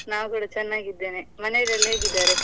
ನಾವ್ಕೂಡ ಚನ್ನಾಗಿದ್ದೇನೆ, ಮನೆಯಲೆಲ್ಲಾ ಹೇಗಿದ್ದಾರೆ?